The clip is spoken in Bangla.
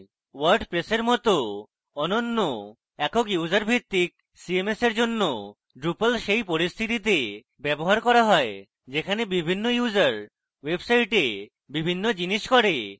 wordpress এর cms অন্যান্য একক user ভিত্তিক cms এর cms drupal সেই পরিস্থিতিতে ব্যবহার করা হয় যেখানে বিভিন্ন user website বিভিন্ন জিনিষ করে